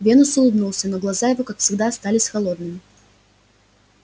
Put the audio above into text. венус улыбнулся но глаза его как всегда остались холодными